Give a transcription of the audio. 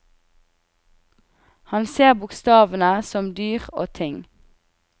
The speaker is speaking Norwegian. Han ser bokstavene som dyr og ting.